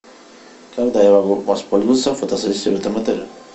когда я могу воспользоваться фотосессией в этом отеле